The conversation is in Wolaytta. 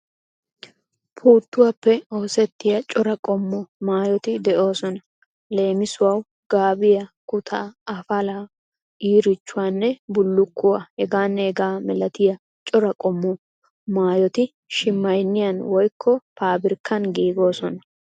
Puuttuwappe oosettiya cora qommo maayoti de'oosona. Leemisuwawu gaabiya, kutaa, afalaa, iirichchuwanne bullukkuwaa hegaanne hegaa malatiya cora qommo maayoti shimaynniyaani woykko paabirkkani giigoosona.